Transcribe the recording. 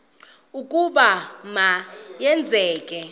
ukuba ma yenzeke